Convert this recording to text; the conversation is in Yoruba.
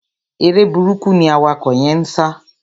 Eré burúkú ni awakọ̀ yẹ́n ń sá.